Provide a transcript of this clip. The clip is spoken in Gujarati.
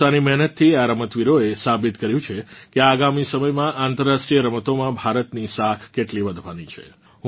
પોતાની મેહનતથી આ રમતવીરોએ સાબિત કર્યું છે કે આગામી સમયમાં આંતર્રાષ્ટ્રીય રમતોમાં ભારતની સાખ કેટલી વધવાની છે